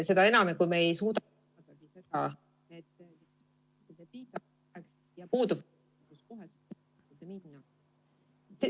Seda enam, et kui me ei suuda ......